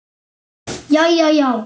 Jæja, já.